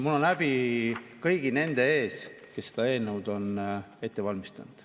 Mul on häbi kõigi nende ees, kes seda eelnõu on ette valmistanud.